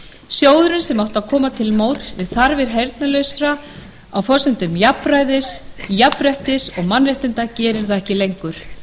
sjóðurinn sem átti að koma til móts við þarfir heyrnarlausra á forsendum jafnræðis jafnréttis og mannréttinda gerir það ekki lengur